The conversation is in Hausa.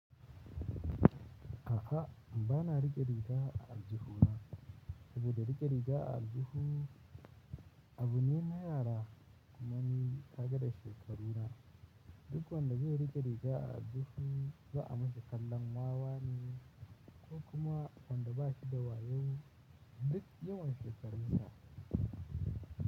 A'a, ba na rike riga a aljihu na. Uba da rike riga a aljihu abu ne na yara kuma ni kaga da shekaru na. Duk wanda zai rike riga a aljihu ba a mishi kallon wawa ne ko kuma wanda ba shi da wayo duk yawan shekarunsa.